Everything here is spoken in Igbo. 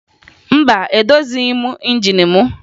Mba, edozighi m injin mụ